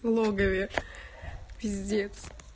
в логове пиздец